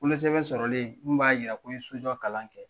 Wolosɛbɛn sɔrɔlen mun b'a yira ko n ye so jɔ kalan kɛ.